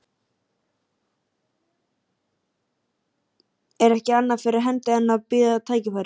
Er ekki annað fyrir hendi en að bíða tækifæris.